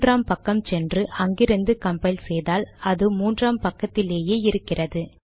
மூன்றாம் பக்கம் சென்று அங்கிருந்து கம்பைல் செய்தால் அது மூன்றாம் பக்கத்திலேயே இருக்கிறது